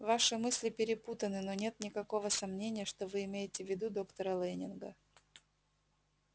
ваши мысли перепутаны но нет никакого сомнения что вы имеете в виду доктора лэннинга